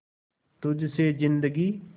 तुझ से जिंदगी